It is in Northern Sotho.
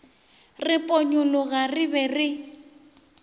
re ponyologa re be re